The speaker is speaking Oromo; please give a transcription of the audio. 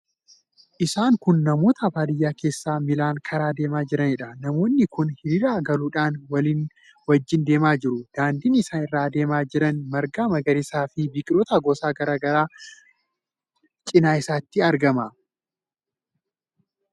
Isaan kun namoota baadiyyaa keessa miilaan karaa deemaa jiraniidha. Namoonni kunneen hiiriira galuudhaan walii wajjin deemaa jiru. Daandiin isaan irra deemaa jiran marga magariisaa fi biqiloota gosa garaa garaatu cina isaatti argama.